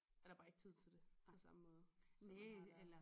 Er der bare ikke tid til det på samme måde som der har været